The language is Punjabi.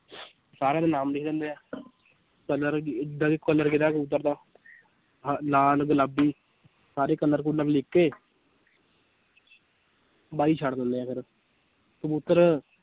ਸਾਰਿਆਂ ਦੇ ਨਾਮ ਲਿਖ ਦਿੰਦੇ ਹੈ colour colour ਕਿਹੜਾ ਕਬੂਤਰ ਦਾ ਲਾਲ ਗੁਲਾਬੀ, ਸਾਰੇ colour ਕੁਲਰ ਲਿਖ ਕੇ ਬਾਜ਼ੀ ਛੱਡ ਦਿੰਦੇ ਆ ਫਿਰ ਕਬੂਤਰ